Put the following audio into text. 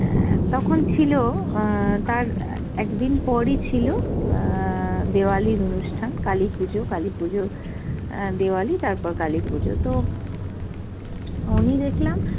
অ্যাঁ তখন ছিল অ্যাঁ তার একদিন পরই ছিল অ্যাঁ দেওয়ালির অনুষ্ঠান, কালীপুজো, কালীপুজো অ্যাঁ দেওয়ালি তারপর কালীপুজো তো উনি দেখলাম